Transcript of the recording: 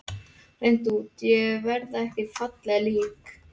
Hreint út: Ég verð ekki fallegt lík.